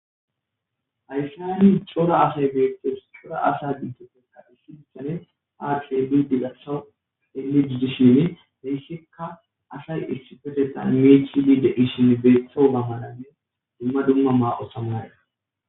hayssa hayni cola asay beethtes cora asa dintoppeka issidissane aars bidi gasa heli diddishin heyssikka asay irsipetetan meechiliide ishin beeththo mamananne dumma dumma maao samaya